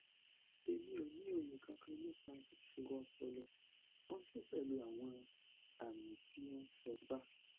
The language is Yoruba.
emi o ni oye kankan nipa isoro opolo ooto pelu awon ami ti o sonpa